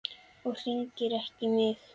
Og hringir ekki í mig.